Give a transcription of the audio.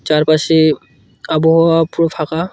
চারপাশে আবহাওয়াও পুরো ফাঁকা।